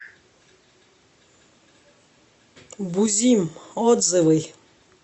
бузим отзывы